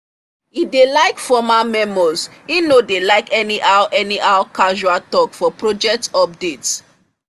he dey like formal memos he no like anyhow anyhow casual talk for project updates